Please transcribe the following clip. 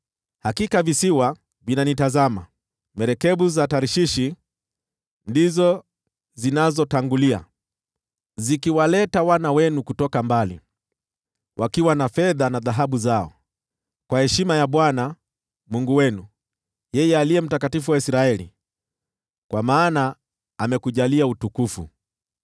Hakika visiwa vinanitazama, merikebu za Tarshishi ndizo zinazotangulia, zikiwaleta wana wenu kutoka mbali, wakiwa na fedha na dhahabu zao, kwa heshima ya Bwana , Mungu wenu, yeye Aliye Mtakatifu wa Israeli, kwa maana amekujalia utukufu.